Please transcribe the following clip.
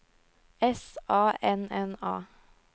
S A N N A